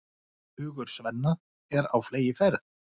Hugur Svenna er á fleygiferð.